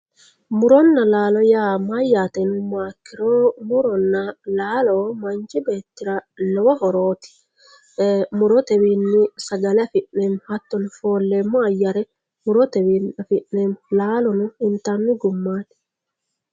muronna laalo yaa mayaate yinummoha ikkiro muronna laalo manchi beettira lowo horooti murotewiini sagale afi'neemo hattono fooleemo ayyare murotewiini afi'neemo laalono intanni gummati.